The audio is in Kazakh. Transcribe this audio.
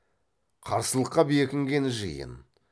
қарсылыққа бекінген жиын